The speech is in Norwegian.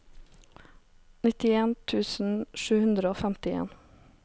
nittien tusen sju hundre og femtien